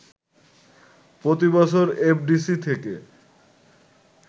প্রতিবছর এফডিসি থেকে